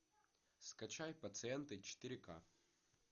скачай пациенты четыре к